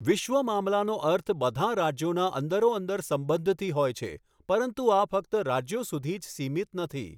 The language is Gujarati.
વિશ્વ મામલાનો અર્થ બધાં રાજ્યોનાં અંદરોઅંદર સંબંધથી હોય છે પરંતુ આ ફક્ત રાજ્યો સુધી જ સિમિત નથી.